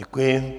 Děkuji.